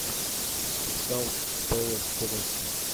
кристал пэлас тоттенхэм